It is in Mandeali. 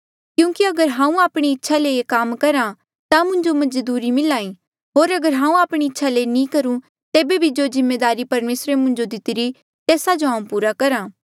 क्यूंकि अगर हांऊँ आपणी इच्छा ले ये काम करहा ता मुंजो मजदूरी मिल्हा ई होर अगर हांऊँ आपणी इच्छा ले नी करूं तेबे भी जो जिम्मेदारी परमेसरे मुंजो दितिरी तेस्सा जो हांऊँ पूरा करहा